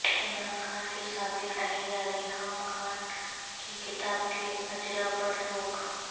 عمران خان کی سابق اہلیہ ریحام خان کی کتاب کے اجرا پر روک